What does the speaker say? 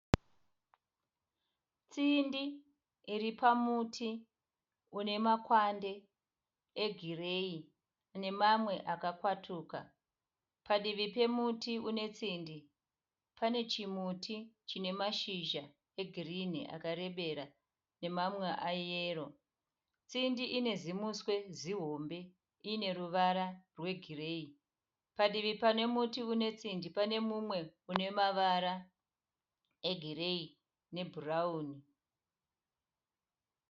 Tsindi iri pamuti unemakwande egireyi namamwe akakwatuka. Padivi pemuti unetsindi pane chimuti chine mashizha egirini akarembera nemamwe ayero. Tsindi ine zimuswe zihombe ineruvara rwegiriyei. Padivi pane muti unetsindi pane mumwe unemavara egireyi nebhurauni.